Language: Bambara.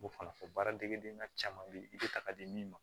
M'o fana fɔ baara degeden na caman bɛ yen i bɛ ta ka di min ma